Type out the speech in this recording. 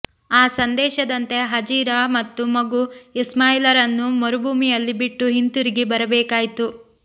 ಆ ಸಂದೇಶದಂತೆ ಹಾಜಿರಾ ಮತ್ತು ಮಗು ಇಸ್ಮಾಯಿಲರನ್ನು ಮರುಭೂಮಿಯಲ್ಲಿ ಬಿಟ್ಟು ಹಿಂತಿರುಗಿ ಬರಬೇಕಾಯಿತು